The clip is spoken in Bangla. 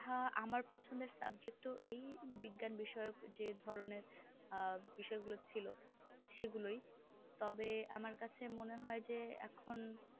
হ্যাঁ আমার পছন্দের subject ও এই বিজ্ঞান বিষয়ক যে ধরণের আহ বিষয় গুলো ছিল সেগুলোই তবে আমার কাছে মনে হয় যে এখন